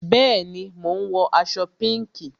Bẹẹni, mo ń wọ aṣọ pinki